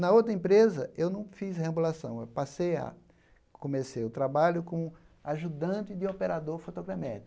Na outra empresa eu não fiz reambulação, eu passei a... comecei o trabalho como ajudante de operador fotogramétrico.